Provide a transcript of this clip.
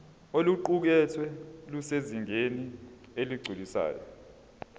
oluqukethwe lusezingeni eligculisayo